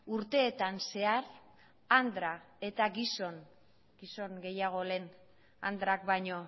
urteetan zehar andra eta gizon gizon gehiago lehen andrak baino